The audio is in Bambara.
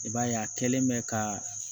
I b'a ye a kɛlen bɛ ka